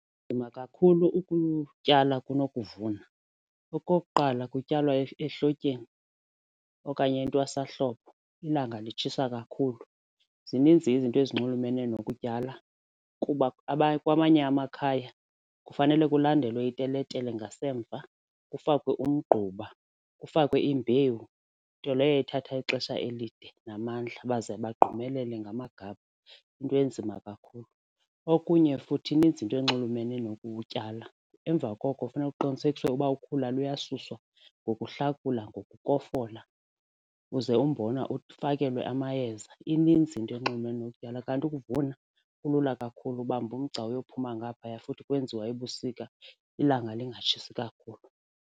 kakhulu ukutyala kunokuvuna. Okokuqala, kutyalwa ehlotyeni okanye entwasahlobo ilanga litshisa kakhulu zininzi izinto ezinxulumene nokutyala kuba kwamanye amakhaya kufanele kulandelwe iteletele ngasemva kufakwe umgquba, kufakwe imbewu nto leyo ithatha ixesha elide namandla baze bagqumelele ngamagade into enzima kakhulu. Okunye futhi ininzi into enxulumene nokutyala, emva koko kufuneka kuqinisekiswe uba ukhula luyasuswa ngokuhlakula ngokofola uze umbona ufakelwe amayeza. Ininzi into enxulumene nokutyala kanti ukuvuna kulula kakhulu ubamba mgca uyophuma ngaphaya futhi kwenziwa ebusika ilanga lingatshisi kakhulu.